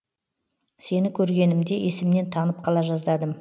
сені көргенімде есімнен танып қала жаздадым